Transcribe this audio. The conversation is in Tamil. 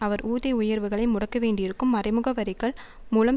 அவர் ஊதிய உயர்வுகளை முடக்க வேண்டியிருக்கும் மறைமுக வரிகள் மூலம்